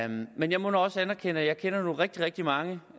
men jeg må nu også erkende at jeg kender rigtig rigtig mange